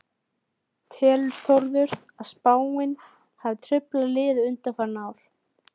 Telur Þórður að spáin hafi truflað liðið undanfarin ár?